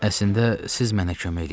Əslində siz mənə kömək eləyin.